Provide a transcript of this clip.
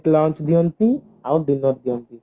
lunch ଦିଅନ୍ତି ଆଉ dinner ଦିଅନ୍ତି